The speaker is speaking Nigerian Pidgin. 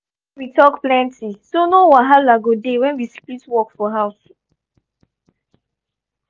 i dey push make we talk plenty so no wahala go dey when we split work for house.